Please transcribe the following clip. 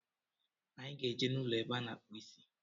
Anyị ga-eje n'ụlọ ebe a na-akpụ isi